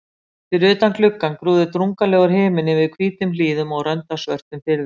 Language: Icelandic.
Fyrir utan gluggann grúfði drungalegur himinn yfir hvítum hlíðum og rönd af svörtum firði.